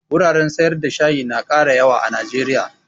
Wuraren sayar da shayi na ƙara yawa a najeriya